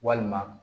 Walima